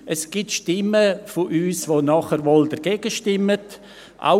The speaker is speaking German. Bei uns gibt es Stimmen, die nachher wohl dagegen stimmen werden.